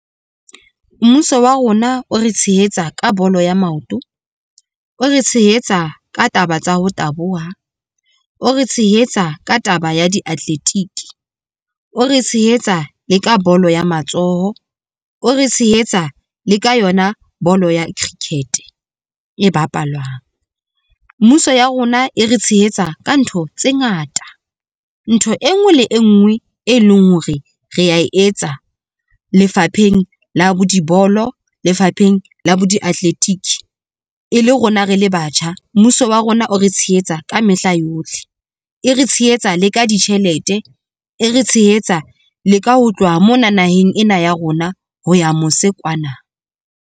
Mmuso wa rona o re tshehetsa ka bolo ya maoto, o re tshehetsa ka taba tsa ho taboha, o re tshehetsa ka taba ya diatletiki, o re tshehetsa le ka bolo ya matsoho, o re tshehetsa le ka yona bolo ya cricket e bapalwang. Mmuso ya rona e re tshehetsa ka ntho tse ngata ntho e nngwe le e nngwe e leng hore re a etsa lefapheng la bo dibolo lefapheng la bo diatletiki. E le rona re le batjha, mmuso wa rona o re tshehetsa ka mehla yohle, e re tshehetsa le ka ditjhelete, e re tshehetsa le ka ho tloha mona, naheng ena ya rona ho ya mose kwana.